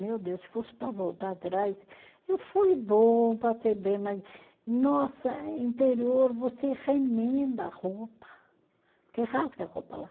Meu Deus, se fosse para voltar atrás, eu fui bom, passei bem, mas, nossa, interior, você remenda a roupa, porque rasga a roupa lá.